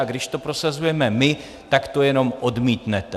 A když to prosazujeme my, tak to jenom odmítnete.